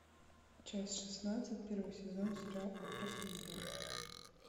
часть шестнадцать первый сезон сериал афросамурай